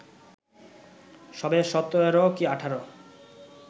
সবে ১৭ কি ১৮